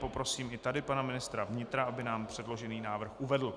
Poprosím i tady pana ministra vnitra, aby nám předložený návrh uvedl.